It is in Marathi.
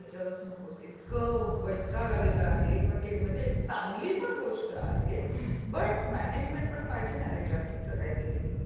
ते तर विचारूस नकोस. इतका वैताग आलेला आहे म्हणजे चांगली पण गोष्ट आहे बट म्यानेजमेंट पण पाहिजे न रे ट्राफिकचं काहीतरी.